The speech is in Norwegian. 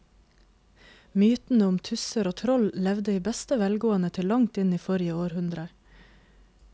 Mytene om tusser og troll levde i beste velgående til langt inn i forrige århundre.